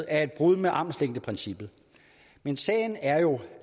er et brud med armslængdeprincippet men sagen er jo